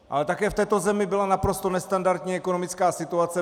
Ale také v této zemi byla naprosto nestandardní ekonomická situace.